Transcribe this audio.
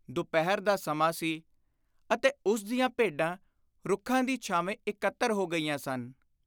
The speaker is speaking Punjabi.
ਦੁਪਹਿਰ ਦਾ ਸਮਾਂ ਸੀ ਅਤੇ ਉਸ ਦੀਆਂ ਭੇਡਾਂ ਰੁੱਖਾਂ ਦੀ ਛਾਵੇਂ ਇਕੱਤਰ ਹੋ ਗਈਆਂ ਸਨ।